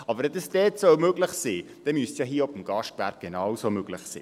Aber wenn es dort möglich sein soll, müsste es beim Gastgewerbe genauso möglich sein.